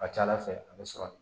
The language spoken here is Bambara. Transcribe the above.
A ka ca ala fɛ a bɛ sɔrɔ